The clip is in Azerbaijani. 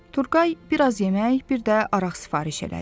Turğay biraz yemək, bir də araq sifariş elədi.